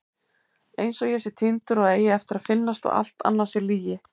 Einsog ég sé týndur og eigi eftir að finnast og allt annað sé lygi.